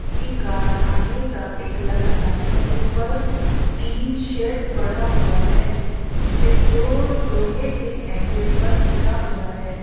किसी कारखाने का पिक लग रहा है ऊपर टीन शेड पड़ा हुआ है जिसपे जो लोहे के ऐंगल पर टिका हुआ है।